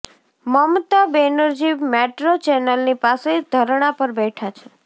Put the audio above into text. મમતા Banerjee metro ચેનલની પાસે ધરણા પર બેઠા છે